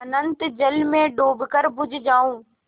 अनंत जल में डूबकर बुझ जाऊँ